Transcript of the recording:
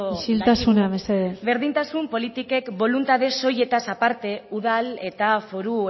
isiltasuna mesedez berdintasun politikek boluntade soilez aparte udal eta foru